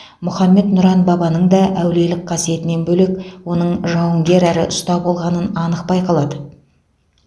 мұхаммед нұран бабаның да әулиелік қасиетінен бөлек оның жауынгер әрі ұста болғанын анық байқалады